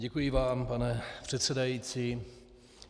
Děkuji vám, pane předsedající.